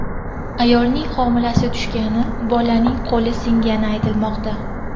Ayolning homilasi tushgani, bolaning qo‘li singani aytilmoqda.